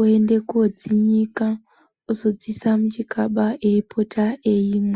oende kodzinyika ozodziisa, muchikaba eipota ,eimwa.